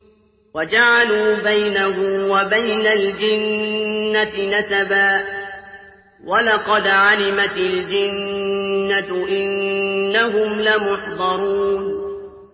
وَجَعَلُوا بَيْنَهُ وَبَيْنَ الْجِنَّةِ نَسَبًا ۚ وَلَقَدْ عَلِمَتِ الْجِنَّةُ إِنَّهُمْ لَمُحْضَرُونَ